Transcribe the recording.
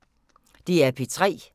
DR P3